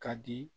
Ka di